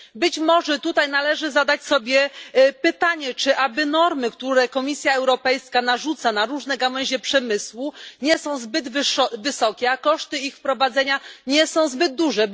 Być może należy zadać sobie pytanie, czy normy, które Komisja Europejska narzuca na różne gałęzie przemysłu, nie są zbyt wysokie, a koszty ich wprowadzenia nie są zbyt duże?